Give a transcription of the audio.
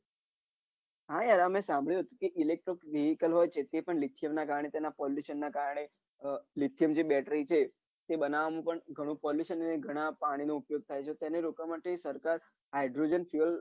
હા યાર મેં સાભળ્યું હતું કે હોય ના lecture કારણે તેમાં pollution ના કારણે આહ બેટરી છે તે બનાવામાં પણ pollution ગણું પાણી નો ઉપયોગ થાય છે તેને રોકવા માટે સરકાર hydrogen fuel